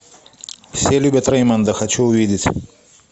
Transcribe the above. все любят рэймонда хочу увидеть